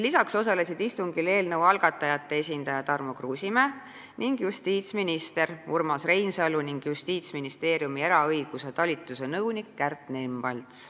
Lisaks osalesid istungil eelnõu algatajate esindaja Tarmo Kruusimäe, justiitsminister Urmas Reinsalu ja Justiitsministeeriumi eraõiguse talituse nõunik Kärt Nemvalts.